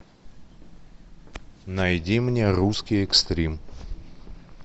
найди мне русский экстрим